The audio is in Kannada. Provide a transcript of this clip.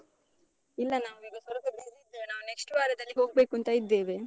ಇಲ್ಲ. ನಾವೀಗ ಸ್ವಲ್ಪ busy ಇದ್ದೇವೆ. ನಾವು next ವಾರದಲ್ಲಿ ಹೋಗ್ಬೇಕೂಂತ ಇದ್ದೇವೆ.